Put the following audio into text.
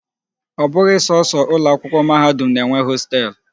Ọ bụghị sọsọ ụlọ akwụkwọ mahadum na-enwe hostelụ.